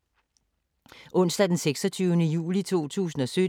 Onsdag d. 26. juli 2017